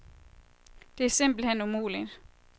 Det er simpelt hen umuligt.